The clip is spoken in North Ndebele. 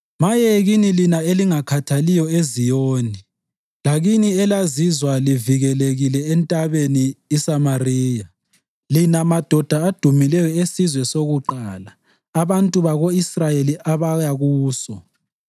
Maye kini lina elingakhathaliyo eZiyoni, lakini elizizwa livikelekile eNtabeni iSamariya, lina madoda adumileyo esizwe sokuqala, abantu bako-Israyeli abaya kuso!